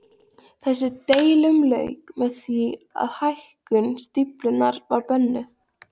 Þessum deilum lauk með því að hækkun stíflunnar var bönnuð.